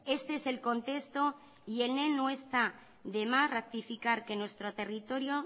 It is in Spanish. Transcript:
este es el contexto y en él no está de más ratificar que nuestro territorio